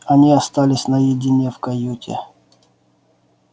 они остались наедине в каюте